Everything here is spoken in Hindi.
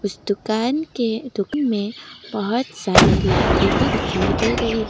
इस दुकान के में बहोत सारे लाइटें भी दिखाई दे रही हैं।